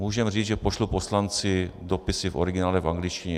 Můžeme říct, že pošlu poslanci dopisy v originále v angličtině.